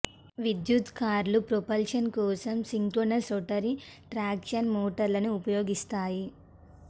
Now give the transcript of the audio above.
విద్యుత్ కార్లు ప్రొపల్షన్ కోసం సిన్క్రోనస్ రోటరీ ట్రాక్షన్ మోటార్లను ఉపయోగిస్తాయి